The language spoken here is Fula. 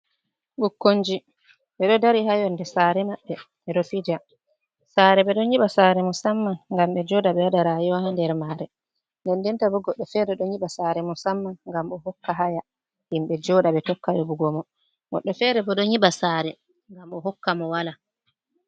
Ɓukkonji ɓe ɗo dari, haa yonnde saare maɓɓe ɓe ɗo fija. Saare ɓe ɗon nyiɓa saare, musamman ngam ɓe jooɗa, ɓe waɗa rayuwa haa nder maare. Nden denta bo goɗɗo feere, ɗon nyiɓa saare musamman ngam o hokka haya, himɓe jooɗa, ɓe tokka yoɓugo mo. Goɗɗo feere bo, ɗo nyiɓa saare, ngam o hokka mo walaa.